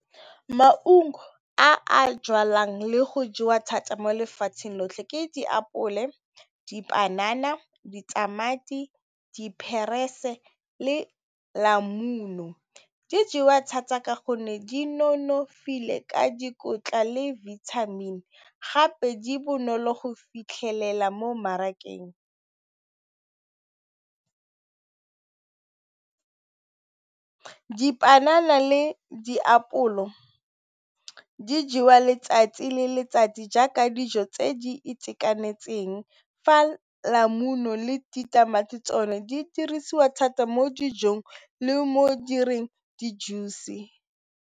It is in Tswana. Maungo a jalwang le go jewa thata mo lefatsheng lotlhe ke diapole, dipanana, ditamati, le . Di jewa thata ka gonne di nonofile ka dikotla le vitamin gape di bonolo go fitlhelela mo mmarakeng. Dipanana le diapole mo di jewa letsatsi le letsatsi jaaka dijo tse di itekanetseng fa le ditamati tsone di dirisiwa thata mo dijong le mo direng di juice.